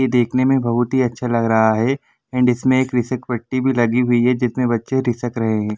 ये देखने में बहुत ही अच्छा लग रहा है एंड इसमें एक भी लगी हुई है जिसमें बच्चे रिसक रहे हैं।